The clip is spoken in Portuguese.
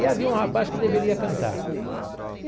E havia um rapaz que deveria cantar.